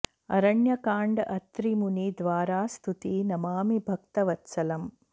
अरण्यकाण्ड अत्रि मुनि द्वारा स्तुति नमामि भक्त वत्सलम्